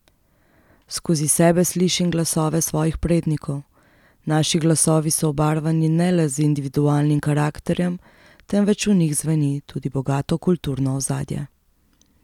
Skozi sebe slišim glasove svojih prednikov, naši glasovi so obarvani ne le z individualnim karakterjem, temveč v njih zveni tudi bogato kulturno ozadje.